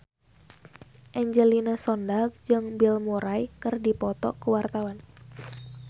Angelina Sondakh jeung Bill Murray keur dipoto ku wartawan